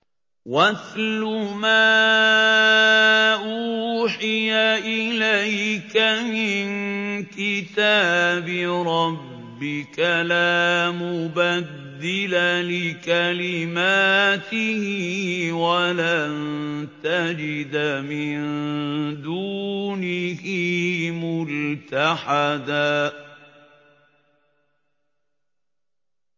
وَاتْلُ مَا أُوحِيَ إِلَيْكَ مِن كِتَابِ رَبِّكَ ۖ لَا مُبَدِّلَ لِكَلِمَاتِهِ وَلَن تَجِدَ مِن دُونِهِ مُلْتَحَدًا